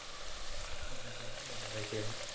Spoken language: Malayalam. അതെല്ലേ ഓഹ് അയ്ശെരി